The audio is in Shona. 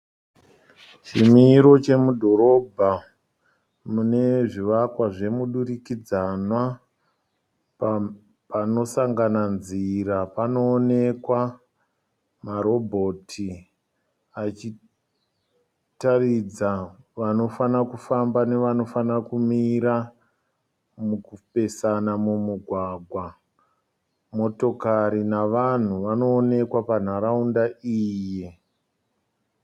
Chimiro chemudhorobha mune zvivakwa zvemudurikidzanwa panosangana nzira panoonekwa, marobhoti achitaridza vanofana kufamba nevanofana kumira mukupesana mumugwagwa motokari navanhu vanoonekwa panharaunda iyi.